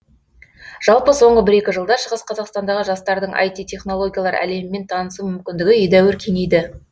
жалпы соңғы бір екі жылда шығыс қазақстандағы жастардың іт технологиялар әлемімен танысу мүмкіндігі едәуір кеңейді